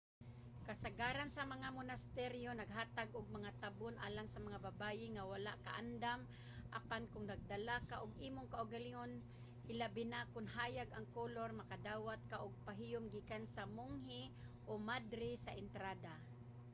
kasagaran sa mga monasteryo naghatag og mga tabon alang sa mga babaye nga wala kaandam apan kon nagdala ka og imong kaugalingon hilabi na kon hayag ang kolor makadawat ka og pahiyom gikan sa monghe o madre sa entrada